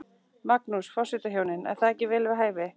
Magnús: Forsetahjónin, er það ekki vel við hæfi?